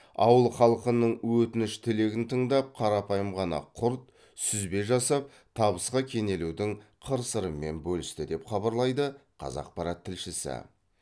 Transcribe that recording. ауыл халқының өтініш тілегін тыңдап қарапайым ғана құрт сүзбе жасап табысқа кенелудің қыр сырымен бөлісті деп хабарлайды қазақпарат тілшісі